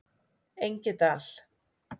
Engidal